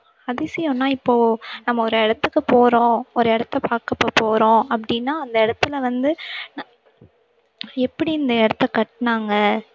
அதிசயம்னா இப்போ நம்ம ஒரு இடத்துக்குப் போறோம் ஒரு இடத்தப் பார்க்க இப்போ போறோம் அப்படீன்னா அந்த இடத்திலே வந்து எப்படி இந்த இடத்தை கட்டுனாங்க